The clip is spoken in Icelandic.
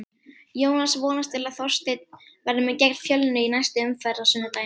Jónas vonast til að Þorsteinn verði með gegn Fjölni í næstu umferð á sunnudaginn.